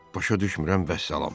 Başa düşmürəm vəssalam.